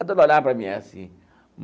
A dona olhava para mim assim.